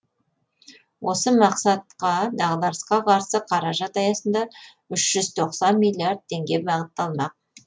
осы мақсатқа дағдарысқа қарсы қаражат аясында үш жүз тоқсан миллиард теңге бағытталмақ